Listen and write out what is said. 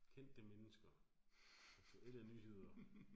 Kendte mennesker. Eller nyheder